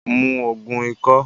Mu Ògùn ikọ́!